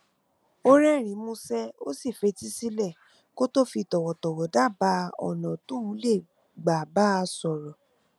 ó rérìnín músé ó sì fetí sílè kó tó fi tòwòtòwò dábàá ònà míì tóun lè gbà bá a sòrò